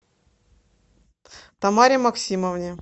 тамаре максимовне